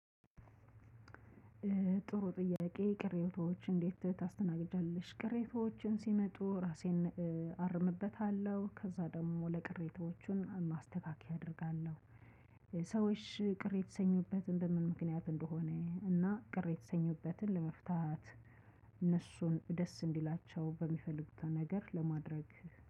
ጥሩ ጥያቄ ቅሬታዎች እንዴት ታስተናግዳለሽ ቅሬታዎችን ሲመጡ ራሴን አርምበታለሁ ከዛ ደግሞ ለቅሬታዎቹን ማስተካከያ አደርጋለሁ። ሰዎች ቅር የሰኙበትን በምን ምክንያት እንደሆነ እና ቅሬታ የሰኙበትን ለመፍታት ደስ እንዲላቸው በሚፈልጉት ነገር ለማድረግ።